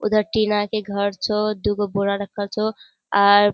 उधर टीना के घर छो दूगो बोढ़ा रखल छो। आर --